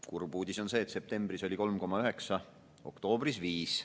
Kurb uudis on see, et septembris oli see 3,9%, oktoobris 5%.